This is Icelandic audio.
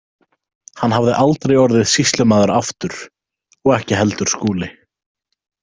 Hann hafði aldrei orðið sýslumaður aftur og ekki heldur Skúli.